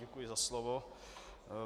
Děkuji za slovo.